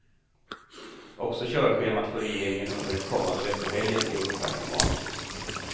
Också körschemat för regeringen under den kommande veckohelgen är ungefär som vanligt.